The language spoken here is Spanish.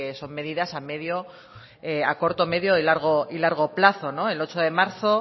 son medidas a corto medio y largo plazo el ocho de marzo